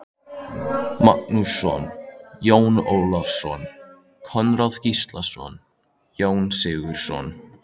Magnússon, Jón Ólafsson, Konráð Gíslason, Jón Sigurðsson